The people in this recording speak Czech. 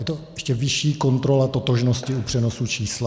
Je to ještě vyšší kontrola totožnosti u přenosu čísla.